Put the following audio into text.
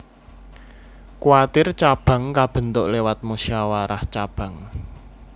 Kwartir cabang kabentuk lewat musyawarah cabang